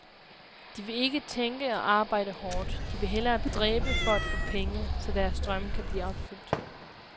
De vil ikke tænke og arbejde hårdt, de vil hellere dræbe for at få penge, så deres drømme kan blive opfyldt.